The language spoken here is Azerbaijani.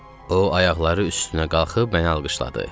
O, ayaqları üstünə qalxıb məni alqışladı.